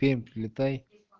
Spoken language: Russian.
пермь прилетай